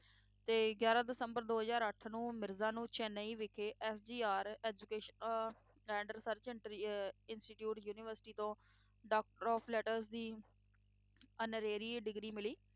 ਤੇ ਗਿਆਰਾਂ ਦਸੰਬਰ ਦੋ ਹਜ਼ਾਰ ਅੱਠ ਨੂੰ ਮਿਰਜ਼ਾ ਨੂੰ ਚੇਨਈ ਵਿਖੇ MGR education~ uh and research ਇੰਟਰੀ~ ਅਹ institute university ਤੋਂ doctor of letters ਦੀ honorary degree ਮਿਲੀ।